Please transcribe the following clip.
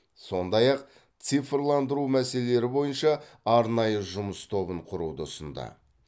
сондай ақ цифрландыру мәселелері бойынша арнайы жұмыс тобын құруды ұсынды